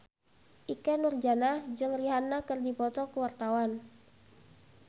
Ikke Nurjanah jeung Rihanna keur dipoto ku wartawan